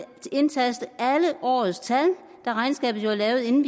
indtaste alle årets tal da regnskabet jo er lavet inden